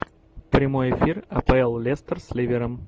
прямой эфир апл лестер с ливером